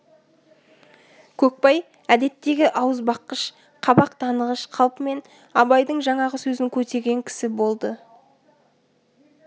көкбай әдеттегі ауызбаққыш қабақ танығыш қалпымен абайдың жаңағы сөзін көтерген кісі болды